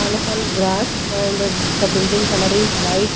all of all grass and the building color is white.